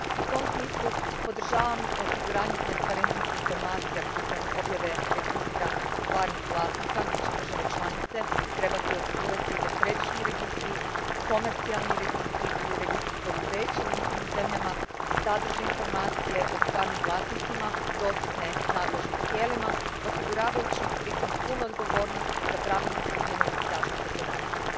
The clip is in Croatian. U tom smislu podržavam osiguranje transparentnih informacija putem objave registra stvarnih vlasnika, gdje će države članice trebati osigurati da središnji registri, komercijalni registri ili registri poduzeća u njihovim zemljama sadrže informacije o stvarnim vlasnicima dostupne nadležnim tijelima, osiguravajući pri tome punu odgovornost za pravilnu primjenu zaštite podataka.